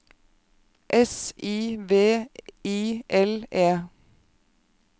S I V I L E